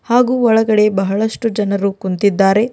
ಹಾಗೂ ಒಳಗಡೆ ಬಹಳಷ್ಟು ಜನರು ಕುಂತಿದ್ದಾರೆ.